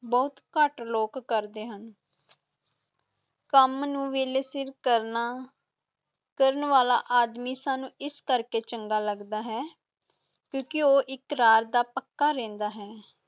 ਬਹੁਤ ਘੱਟ ਲੋਕ ਕਰਦੇ ਹਨ ਕੰਮ ਨੂੰ ਵੇਲੇ ਸਿਰ ਕਰਨਾ, ਕਰਨ ਵਾਲਾ ਆਦਮੀ ਸਾਨੂੰ ਇਸ ਕਰਕੇ ਚੰਗਾ ਲੱਗਦਾ ਹੈ, ਕਿਉਂਕਿ ਉਹ ਇਕਰਾਰ ਦਾ ਪੱਕਾ ਰਹਿੰਦਾ ਹੈ।